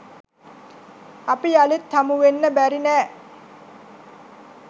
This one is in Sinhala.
අපි යළිත් හමුවෙන්න බැරි නෑ.